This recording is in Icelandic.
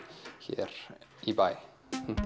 hér í bæ